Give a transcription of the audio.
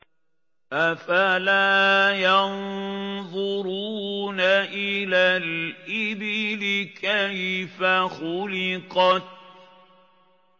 أَفَلَا يَنظُرُونَ إِلَى الْإِبِلِ كَيْفَ خُلِقَتْ